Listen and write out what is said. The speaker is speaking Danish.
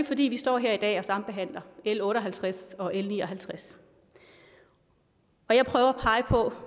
fordi vi står her i dag og sambehandler l otte og halvtreds og l ni og halvtreds og jeg prøver